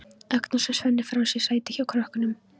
Agnes og Svenni fá sér sæti hjá krökkunum.